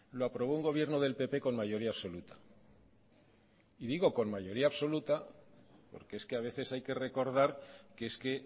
lo aprobó un gobierno del pp con mayoría absoluta y digo con mayoría absoluta porque es que a veces hay que recordar que es que